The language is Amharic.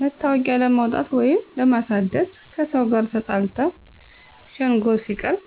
መታወቂያ ለማውጣት ወይንም ለማሳደስ፣ ከሰው ጋር ተጣልተው ሸንጎ ሲቀርቡ፣